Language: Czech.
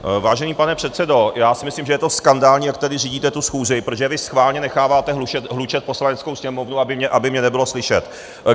Vážený pane předsedo, já si myslím, že je to skandální, jak tady řídíte tu schůzi, protože vy schválně necháváte hlučet Poslaneckou sněmovnu, aby mě nebylo slyšet.